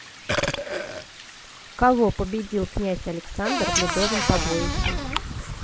кого победил князь александр в ледовом побоище